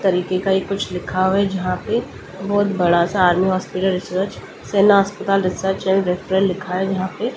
तरीके का एक कुछ लिखा हुआ यहां पे बहुत बड़ा सा army hospital research hospital research and referral लिखा है यहां पे ।